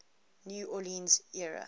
new orleans area